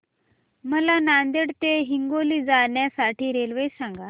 मला नांदेड ते हिंगोली जाण्या साठी रेल्वे सांगा